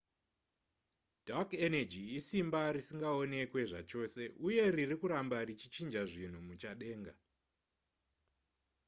dark energy isimba risingaonekwe zvachose uye riri kuramba richichinja zvinhu muchadenga